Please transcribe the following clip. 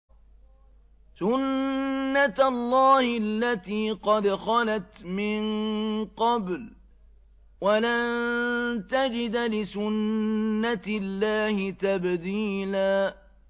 سُنَّةَ اللَّهِ الَّتِي قَدْ خَلَتْ مِن قَبْلُ ۖ وَلَن تَجِدَ لِسُنَّةِ اللَّهِ تَبْدِيلًا